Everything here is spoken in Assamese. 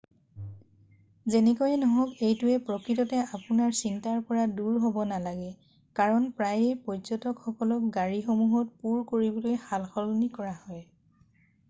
যেনেকৈয়ে নহওক এইটোৱে প্ৰকৃততে আপোনাৰ চিন্তাৰ পৰা দূৰ হ'ব নালাগে কাৰণ প্ৰায়েই পৰ্য্যটকসকলক গাড়ীসমূহত পূৰ কৰিবলৈ সালসলনি কৰা হয়৷